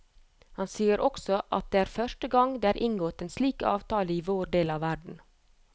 Han sier også at det er første gang det er inngått en slik avtale i vår del av verden.